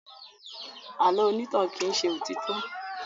Àlọ́ onítàn kì í ṣe òtítọ́.